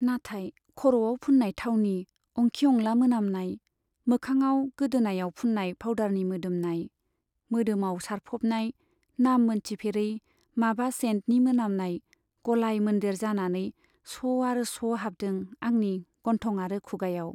नाथाय खर'आव फुन्नाय थावनि अंखि अंला मोनामनाय, मोखाङाव, गोदोनायाव फुन्नाय फाउदारनि मोदोमनाय, मोदोमाव सारफ'बनाय नाम मोनथिफेरै माबा सेइन्टनि मोनामनाय गलाय मोन्देर जानानै स' आरो स' हाबदों आंनि गन्थं आरो खुगायाव।